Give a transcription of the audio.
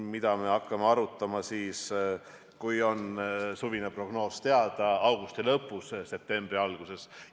Seda me hakkame arutama siis, kui on suvine prognoos teada, augusti lõpus, septembri alguses.